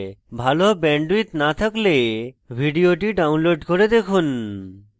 ভাল bandwidth না থাকলে ভিডিওটি download করে দেখুন